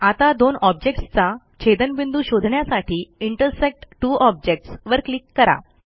आता दोन ऑब्जेक्ट्सचा छेदनबिंदू शोधण्यासाठी इंटरसेक्ट त्वो ऑब्जेक्ट्स वर क्लिक करा